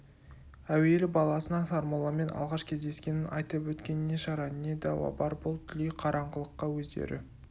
әуелі баласына сармолламен алғаш кездескенін айтып өткен не шара не дауа бар бұл дүлей қараңғылыққа өздері